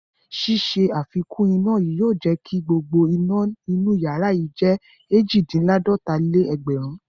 Ṣíṣe àfikún iná yìí yóò jẹ kí gbogbo iná inú ìyàrá yìí jẹ́ èjì-dín-láàdọta-lé-ẹgbẹ̀rún.